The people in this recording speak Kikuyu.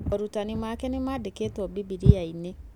Moorutani make nĩmandĩkĩtwo Bibilia-inĩ